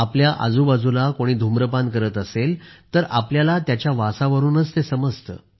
आपल्या आजूबाजूला कोणी धूम्रपान करत असेल तर आपल्याला त्याच्या वासावरूनच ते समजते